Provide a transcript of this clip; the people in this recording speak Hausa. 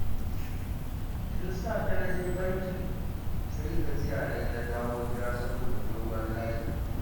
Tun safe na je bankin, sai gajiya na yi na dawo gida saboda dogon layi